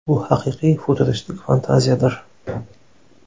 Bu haqiqiy futuristik fantaziyadir.